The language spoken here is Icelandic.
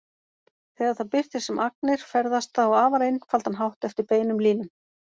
Þegar það birtist sem agnir ferðast það á afar einfaldan hátt eftir beinum línum.